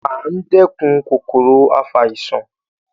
A ń dẹ́kun kòkòrò afàìsàn